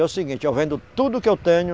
É o seguinte, eu vendo tudo que eu tenho,